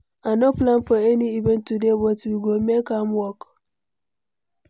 I no plan for any event today, but we go make am work.